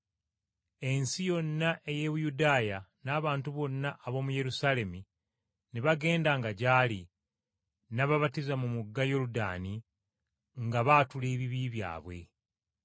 Ensi yonna ey’e Buyudaaya n’abantu bonna ab’omu Yerusaalemi, ne bagendanga gy’ali, n’ababatiza mu mugga Yoludaani nga baatula ebibi byabwe.